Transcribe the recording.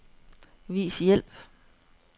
Vis hjælp.